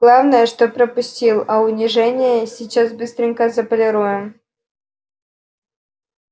главное что пропустил а унижение сейчас быстренько заполируем